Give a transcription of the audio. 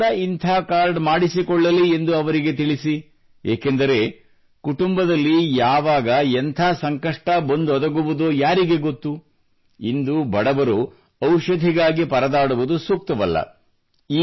ಅವರು ಕೂಡ ಇಂಥ ಕಾರ್ಡ್ ಮಾಡಿಸಿಕೊಳ್ಳಲಿ ಎಂದು ಅವರಿಗೆ ತಿಳಿಸಿ ಏಕೆಂದರೆ ಕುಟುಂಬದಲ್ಲಿ ಯಾವಾಗ ಎಂಥ ಸಂಕಷ್ಟ ಬಂದೊದಗುವುದೋ ಯಾರಿಗೆ ಗೊತ್ತು ಇಂದು ಬಡವರು ಔಷಧಿಗಾಗಿ ಪರದಾಡುವುದು ಸೂಕ್ತವಲ್ಲ